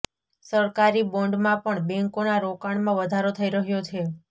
સરકારી બોન્ડમાં પણ બેન્કોના રોકાણમાં વધારો થઈ રહ્યો છે